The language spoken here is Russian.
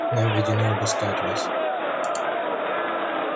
нам ведено обыскать вас